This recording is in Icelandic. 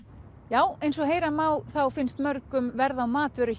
já eins og heyra má þá finnst mörgum verð á matvöru